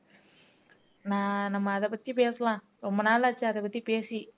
நான் நம்ம அத பத்தி பேசலாம் ரொம்ப நாளாச்சு அத பத்தி பேசி